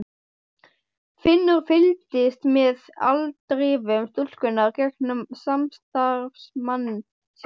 Finnur fylgdist með afdrifum stúlkunnar gegnum samstarfsmann sinn.